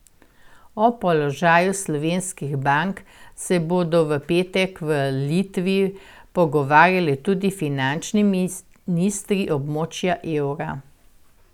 O položaju slovenskih bank se bodo v petek v Litvi pogovarjali tudi finančni ministri območja evra.